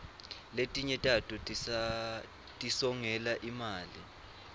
letinye tato tisongela imali